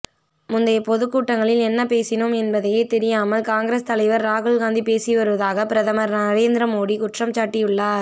முந்தைய பொதுக்கூட்டங்களில் என்ன பேசினோம் என்பதையே தெரியாமல் காங்கிரஸ் தலைவர் ராகுல் காந்தி பேசிவருவதாக பிரதமர் நரேந்திர மோடி குற்றம்சாட்டியுள்ளார்